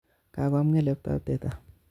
Kakoam ngeleb'tap teta